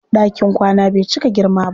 Ɗakin kwana bai cika girma ba.